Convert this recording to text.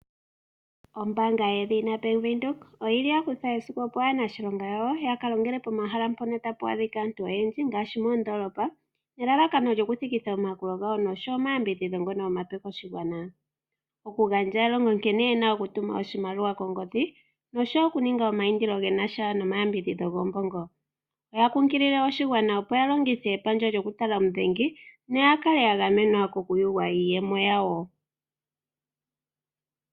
Ombaanga yedhina Bank Windhoek oya kutha esiku, opo aaniilonga yawo ya ka longele pomahala mpono tapu adhika aantu oyendji ngaashi moondoolopa nelalakano ya thikithe omayakulo gawo nosho omayambidhidho ngono omape koshigwana; okugandja elongo nkene ye na okutuma oshimaliwa kongodhi noshowo okuninga omaindilo ge na sha nomayambidhidho goombongo. Oya kunkilile oshigwana opo ya kale ya longitha epandja lyokutala omudhengi, opo ya kale ya gamenwa kokuyugwa iiyemo yawo.